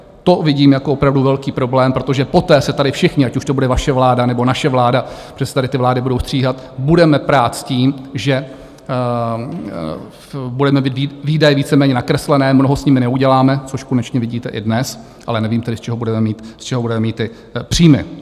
To vidím jako opravdu velký problém, protože poté se tady všichni, ať už to bude vaše vláda, nebo naše vláda, protože se tady ty vlády budou střídat, budeme prát s tím, že budeme mít výdaje víceméně nakreslené, mnoho s nimi nenaděláme, což konečně vidíte i dnes, ale nevím tedy, z čeho budeme mít ty příjmy.